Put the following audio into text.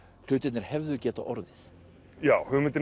hlutirnir hefðu getað orðið já hugmyndin